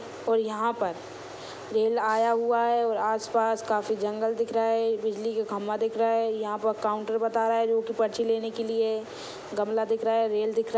और यहाँ पर रेल आया हुआ हैं और आस पास काफी जंगल दिख रहा हैं बिजली का खंभा दिख रहा हैं यहाँ पर काउन्टर बताया हुआ हैं दू ठो पर्ची लेने के लिए गमला दिख रहा हैं रेल दिख रहा हैं।